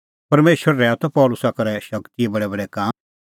परमेशर रहैऊआ त पल़सी करै शगतीए बडैबडै काम